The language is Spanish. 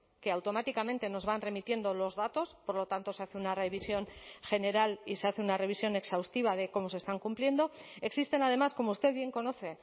que automáticamente nos van remitiendo los datos por lo tanto se hace una revisión general y se hace una revisión exhaustiva de cómo se están cumpliendo existen además como usted bien conoce